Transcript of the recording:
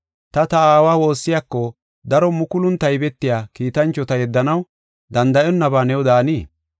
Ta, ta Aawa woossiyako daro mukulun taybetiya kiitanchota yeddanaw danda7onnaba new daanii?